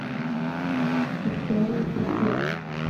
истории подделок